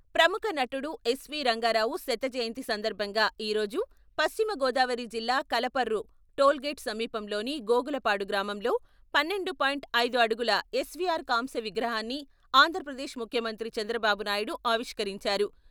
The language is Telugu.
ప్రముఖ నటుడు ఎస్ వి రంగారావు శత జయంతి సందర్భంగా ఈ రోజు పశ్చిమగోదావరి జిల్లా కలపర్రు టోల్ గేట్ సమీపంలోని గోగులపాడు గ్రామంలో పన్నెండు పాయింట్ ఐదు అడుగుల ఎస్ వి ఆర్ కాంస్య విగ్రహాన్ని, ఆంధ్రప్రదేశ్ ముఖ్యమంత్రి చంద్రబాబు నాయుడు ఆవిష్కరించారు.